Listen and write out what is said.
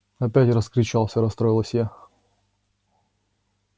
опять раскричался расстроилась я